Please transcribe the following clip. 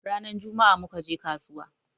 Rana jummaa muka je kasuwa